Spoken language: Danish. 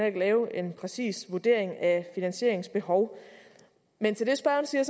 ikke lave en præcis vurdering af finansieringsbehov men til det spørgeren siger